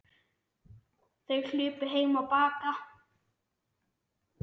Þær hlupu heim á Bakka.